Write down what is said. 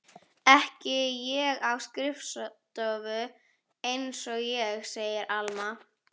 Ekki á skrifstofu einsog ég, segir Alma.